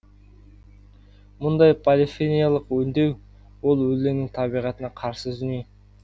мұндай полифиниялық өңдеу ол өлеңнің табиғатына қарсы дүние